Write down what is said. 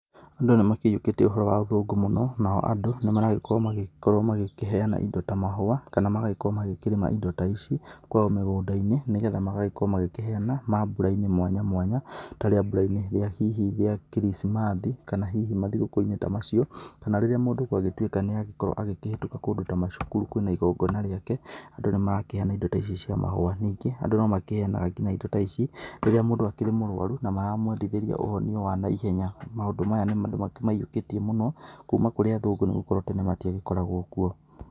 Andũ nĩ makĩiyũkĩtie ũhoro wa athũngũ mũno nao andũ nĩmaragĩkorwo magĩkĩheana indo ta mahũa kana magagĩkorwo makĩrĩma indo ta ici kwao mĩgũnda-inĩ, nĩgetha magagĩkorwo magĩkĩheana mambũra-inĩ mwanya mwanya ta rĩambũra-inĩ hihi rĩa kirithimathi kana hihi mathigũkũ-inĩ ta macio kana rĩrĩa mũndũ gwa gĩtuĩka nĩ agĩkorwo akĩhĩtuka kũndũ ta macukuru kwĩna igongona rĩake andũ nĩ marakĩheana indo ta ici cia mahũa, ningĩ andũ no makĩheanaga indo ta ici rĩrĩa mũndũ akĩrĩ mũrũarũ na maramwendithĩria ũhonio wa naihenya maũndũ maya andũ nĩ makĩmakĩmaiyũkĩtie mũno kuma kũrĩ athũngũ nĩgũkorwo tene matiagĩkoragwo kũo.